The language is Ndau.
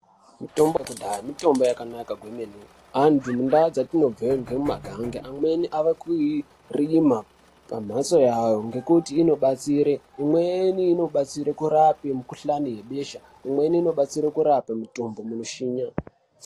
Mutombo yekudhaya mutambo yakabai naka kwemene antu mundau dzatinobve nge muma gange amweni ave kuirima pa mhatso yavo ngekuti inobatsire imweni ino batseri kurape mi kuhlani ye besha imweni ino detsera kurape mutumbu muno shinyira .